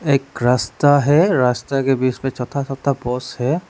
एक रास्ता है रास्ता के बीच में छोटा छोटा बास है।